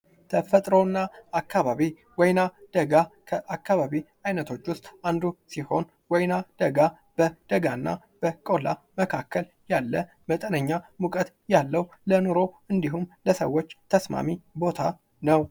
ተፈጥሮ እና አካባቢ ወይና ደጋ አካባቢ አይነቶች ዉስጥ አንዱ ሲሆን ወይና ደጋ በቆላ እና በደጋ መካከል ያለ መጠነኛ ሙቀት ያለው ለኑሮ እንዲሁም ለሰዎች ተስማሚ ቦታ ነው::